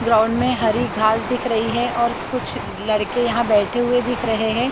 Ground में हरी घास दिख रही है और कुछ लड़के यहां बैठे हुए दिख रहे हैं।